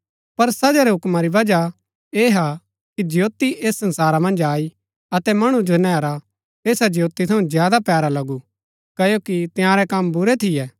पर सजा रै हुक्मा री बजह ऐह हा कि ज्योती ऐस संसारा मन्ज आई अतै मणु जो नैहरा ऐसा ज्योती थऊँ ज्यादा पैरा लगू क्ओकि तंयारै कम बुरै थियै